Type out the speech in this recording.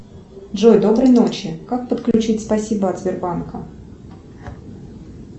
джой доброй ночи как подключить спасибо от сбербанка